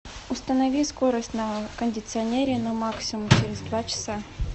установи скорость на кондиционере на максимум через два часа